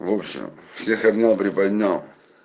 лучше всех обнял приподнял